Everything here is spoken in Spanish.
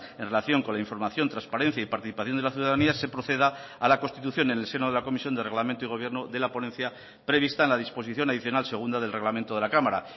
en relación con la información transparencia y participación de la ciudadanía se proceda a la constitución en el seno de la comisión de reglamento y gobierno de la ponencia prevista en la disposición adicional segunda del reglamento de la cámara